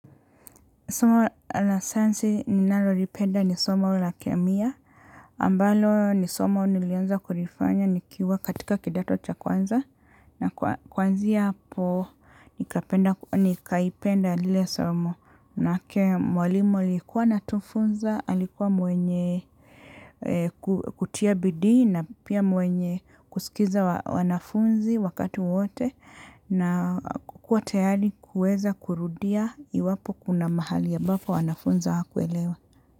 Somo la sayansi ninalo lipenda ni soma la kemia. Ambalo ni soma nilianza kulifanya nikiwa katika kidato cha kwanza. Na kwanzia hapo nikaipenda lile somo. Mwalimu alikuwa anatufunza, alikuwa mwenye kutia bidii na pia mwenye kusikiza wanafunzi wakati wote. Na kuwa tayari kuweza kurudia iwapo kuna mahali ambapo wanafunzi awakuelewa.